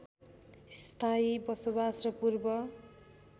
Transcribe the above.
स्थायी बसोबास र पूर्व